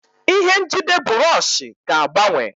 Ihe njide bụrọshị ga-agbanwe.